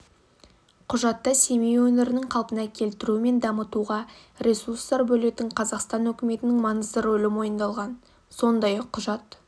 құжатта семей өңірінің қалпына келтіру мен дамытуға ресурстар бөлетін қазақстан үкіметінің маңызды рөлі мойындалған сондай-ақ құжат